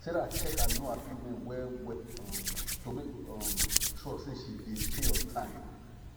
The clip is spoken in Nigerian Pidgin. sarah check her loan agreement well well um to make um sure say she dey pay on time